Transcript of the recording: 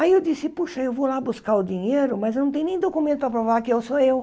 Aí eu disse, puxa, eu vou lá buscar o dinheiro, mas eu não tem nem documento para provar que eu sou eu.